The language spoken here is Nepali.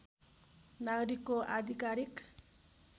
नागरिकको आधिकारिक